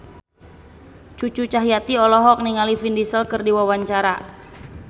Cucu Cahyati olohok ningali Vin Diesel keur diwawancara